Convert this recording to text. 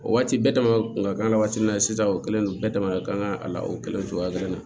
O waati bɛɛ dam'a kun ka kan waati min na sisan o kɛlen no bɛɛ dama ka kan a la o kɛlɛ cogoya kelen na